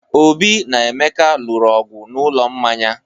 Obi na Emeka lụrụ ọgwụ n'ụlọ mmanya.